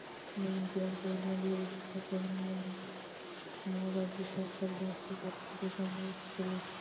ਮਾਂ ਵਰਗੀ ਚਾਦਰ ਲੈ ਕੇ papa ਦੇ ਕਮਰੇ ਚ ਚਲੀ ਗਈ